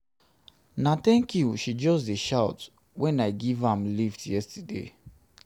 na tank you she just dey shout wen i give am lift yesterday.